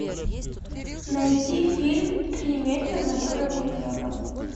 найти фильм три метра над уровнем неба